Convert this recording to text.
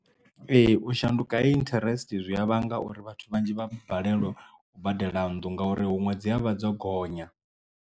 Ee u shanduka ha interest zwi a vhanga uri vhathu vhanzhi vha balelwe u badela nnḓu ngauri huṅwe dzi avha dzo gonya.